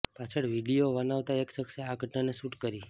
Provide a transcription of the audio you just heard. પાછળ વીડિયો બનાવતાં એક સખ્શે આ ઘટનાને શૂટ કરી